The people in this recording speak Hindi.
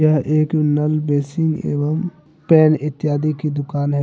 यह एक नल बेसिंन एवं पैन इत्यादि की दुकान है ।